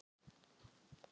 ekki kröfuhafar félagsins.